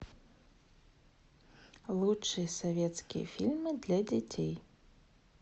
лучшие советские фильмы для детей